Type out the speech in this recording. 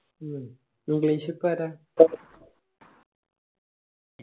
മ്മ് English ഇപ്പൊ ആരാ